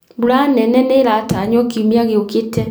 Mbura nene nĩiratanywo kiumia gĩũkĩte